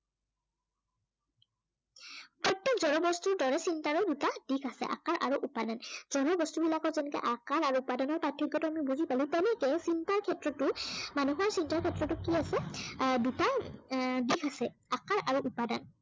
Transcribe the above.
প্ৰত্যেক জড় বস্তুৰ দৰে চিন্তৰো দুটা দিশ আছে। আকাৰ আৰু উপাদান। যদিও বস্তুবিলাকৰ যেনেকে আকাৰ আৰু উপাদানৰ প্ৰাৰ্থক্য়টো আমি বুজি পালো তেনেকে চিন্তাৰ ক্ষেত্ৰতো মানুহৰ চিন্তাৰ ক্ষেত্ৰতো কি আছে আহ দুটা এৰ দিশ আছে। আকাৰ আৰু উপাদান